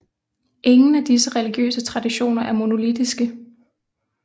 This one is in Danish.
Ingen af disse religiøse traditioner er monolittiske